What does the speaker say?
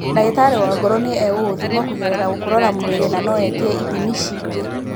Ndagĩtarĩ wa ngoro nĩ egũkũthima kũgerera gũkũrora mwĩrĩ na no etie ithimi cingĩ.